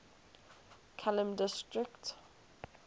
kelheim district